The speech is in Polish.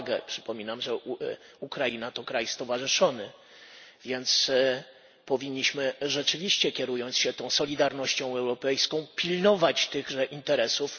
Przypominam, że Ukraina to kraj stowarzyszony, więc powinniśmy rzeczywiście, kierując się solidarnością europejską, pilnować tychże interesów.